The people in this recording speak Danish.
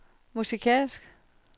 musikalsk